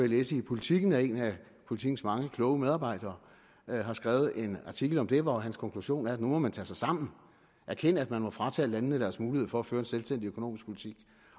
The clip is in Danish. læse i politiken at en af politikens mange kloge medarbejdere har skrevet en artikel om det hvor hans konklusion er at nu må man tage sig sammen og erkende at man fratager landene deres mulighed for at føre en selvstændig økonomisk politik